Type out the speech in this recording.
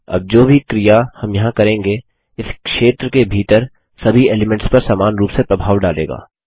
अब जो भी क्रिया हम यहाँ करेंगे इस क्षेत्र के भीतर सभी एलीमेंट्स पर समान रूप से प्रभाव डालेगा